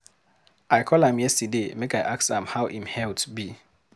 I call am yesterday make I ask am how im health be.